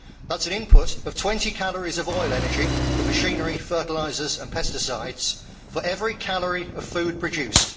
That is an input of 20 calories of oil energy for machinery, fertilisers and pesticides for every calorie of food produced.